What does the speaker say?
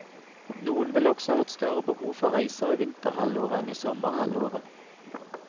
Noen vil også har et større behov for reiser i vinterhalvåret enn i sommerhalvåret.